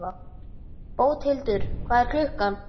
Bóthildur, hvað er klukkan?